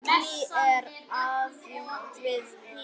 Ragný er aðjunkt við HÍ.